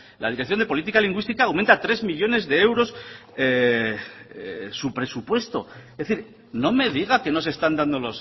la dirección de política lingüística aumenta tres millónes de euros su presupuesto es decir no me diga que no se están dando